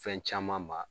Fɛn caman ma